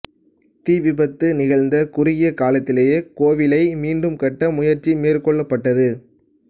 தீ விபத்து நிகழ்ந்த குறுகிய காலத்திலேயே கோவிலை மீண்டும் கட்ட முயற்சி மேற்கொள்ளப்பட்டது